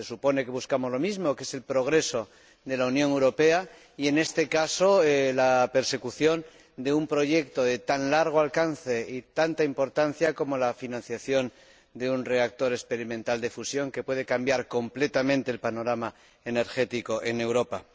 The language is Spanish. Se supone que buscamos lo mismo, que es el progreso de la Unión Europea y, en este caso, la persecución de un proyecto de tan largo alcance y tanta importancia como es la financiación de un reactor experimental de fusión que puede cambiar completamente el panorama energético en Europa.